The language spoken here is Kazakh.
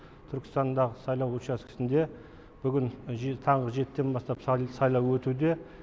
түркістандағы сайлау учаскесінде бүгін таңғы жетіден бастап сайлау өтуде